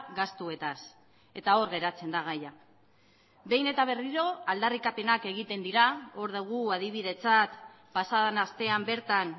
gastuetaz eta hor geratzen da gaia behin eta berriro aldarrikapenak egiten dira hor dugu adibidetzat pasa den astean bertan